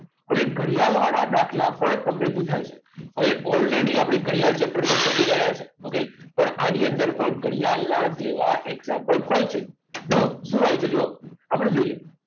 હવે ઘડિયાળ વાળા દાખલા પણ તમને પુછાય છે હવે already આપણે ઘડિયાળ chapter તો ભણી ચૂક્યા છીએ okay પણ આની અંદર પણ ઘડિયાળના જેવા example હોય છે જુઓ શું હોય છે જુઓ આપણે જોઈએ